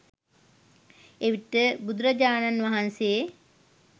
එවිට බුදුරජාණන් වහන්සේ